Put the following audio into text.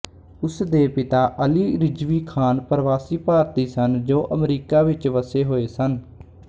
ਉਸ ਦੇ ਪਿਤਾ ਅਲੀ ਰਿਜ਼ਵੀ ਖ਼ਾਨ ਪਰਵਾਸੀ ਭਾਰਤੀ ਸਨ ਜੋ ਅਮਰੀਕਾ ਵਿੱਚ ਵੱਸੇ ਹੋਏ ਸਨ